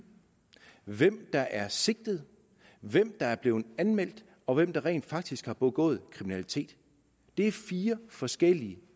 hvem der er sigtet hvem der er blevet anmeldt og hvem der rent faktisk har begået kriminalitet det er fire forskellige